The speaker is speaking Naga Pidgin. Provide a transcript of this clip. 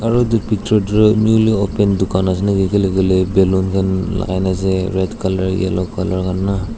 aro itu picture newly opened dukan ase naki kile koile balloon lagai na ase red color yellow color khan na.